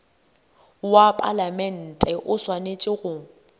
wa palamente o swanetše go